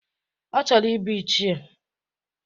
Ọ chọrọ ibu ichie.